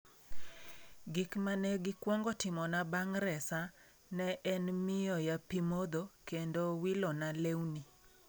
Gik ma ne gikwongo timona bang ' resa ne en miyoya pi modho kendo wilona lewni".